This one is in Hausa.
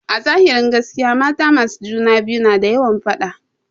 Azahirin gaskiya mata masu juna biyu na da yawan faɗa.